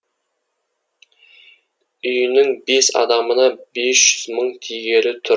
үйінің бес адамына бес жүз мың тигелі тұр